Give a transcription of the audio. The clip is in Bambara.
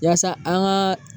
Yaasa an ka